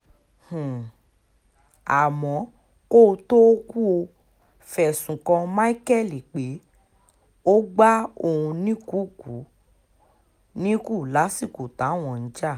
um àmọ́ kó o tóó kú o fẹ̀sùn kan micheal pé ó gba òun níkùukù níkùn lásìkò táwọn ń jà